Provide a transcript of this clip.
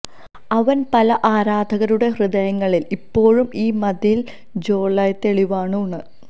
അവൻ പല ആരാധകരുടെ ഹൃദയങ്ങളിൽ ഇപ്പോഴും ഈ മതിൽ ത്സൊഇ തെളിവാണു ആണ്